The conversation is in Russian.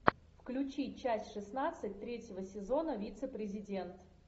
включи часть шестнадцать третьего сезона вице президент